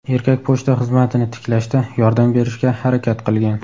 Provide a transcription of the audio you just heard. Erkak pochta xizmatini tiklashda yordam berishga harakat qilgan.